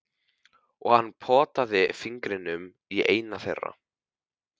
Og hann potaði fingrinum í eina þeirra.